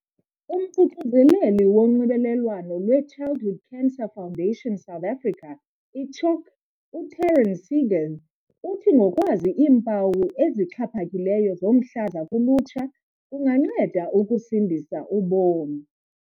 UMququzeleli woNxibelelwano lweChildhood Cancer Foundation South Africa, i-CHOC, u-Taryn Seegers uthi ngokwazi iimpawu ezixhaphakileyo zomhlaza kulutsha, kunganceda ukusindisa ubomi.